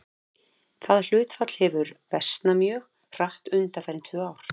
Það hlutfall hefur versnað mjög hratt undanfarin tvö ár.